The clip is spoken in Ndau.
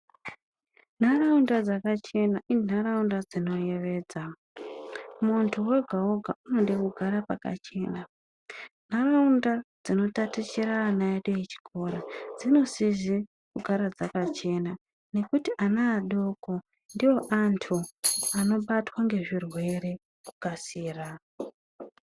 Nharaunda dzakachena inharaunda dzinoyevedza. Muntu oga oga unoda kugara pakachena. Nharaunda dzinotatichira ana edu echikora, dzinosisa kugara dzakachena nekuti ana adoko ndoandu anobatwa nezvirwere nekukasira.